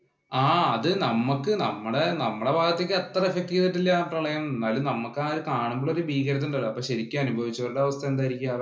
ആ അത് നമ്മക്ക് നമ്മടെ ഭാഗത്തേക്ക് അത്ര effect ചെയ്തിട്ടില്ല ആ പ്രളയം. എന്നാലും നമ്മക്ക് ആ കാണുമ്പോഴുള്ള ഭീകരത ഉണ്ടല്ലോ. അപ്പൊ ശരിക്കും അനുഭവിച്ച അവസ്ഥ എന്തായിരിക്കും ആ വെള്ളം